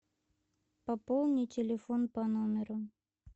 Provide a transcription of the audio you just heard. пополни телефон по номеру